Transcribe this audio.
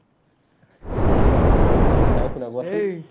নাই শুনা কোৱাচোন